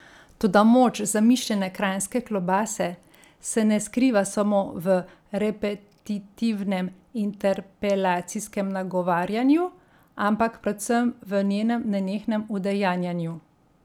Toda moč zamišljene kranjske klobase se ne skriva samo v repetitivnem interpelacijskem nagovarjanju, ampak predvsem v njenem nenehnem udejanjanju.